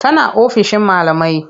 Tana ofishin malamai.